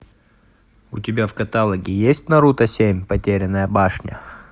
у тебя в каталоге есть наруто семь потерянная башня